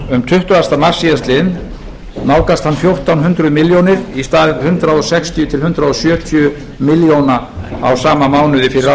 um tuttugasta mars síðastliðinn nálgast hann fjórtán hundruð milljónir í stað hundrað sextíu til hundrað sjötíu milljóna í sama mánuði fyrir ári það er